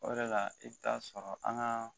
O de la i bɛ t'a sɔrɔ an ka